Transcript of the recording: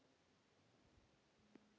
Margur sitt í reiði reytir.